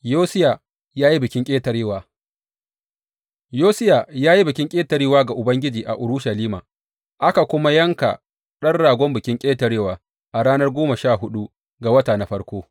Yosiya ya yi Bikin Ƙetarewa Yosiya ya yi Bikin Ƙetarewa ga Ubangiji a Urushalima, aka kuma yanka ɗan ragon Bikin Ƙetarewa a ranar goma sha huɗu ga wata na farko.